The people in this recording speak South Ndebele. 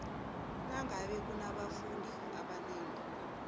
nangabe kunabafundi abanengi